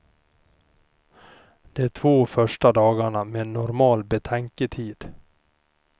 De två första dagarna med normal betänketid.